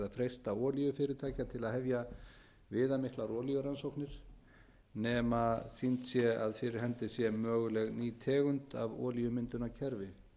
freista olíufyrirtækja til að hefja viðamiklar olíurannsóknir nema sýnt sé að fyrir hendi sé möguleg ný tegund af olíumyndunarkerfi